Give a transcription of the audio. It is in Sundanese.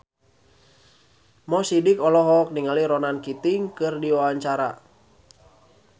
Mo Sidik olohok ningali Ronan Keating keur diwawancara